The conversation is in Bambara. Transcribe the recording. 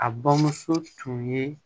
A bamuso tun ye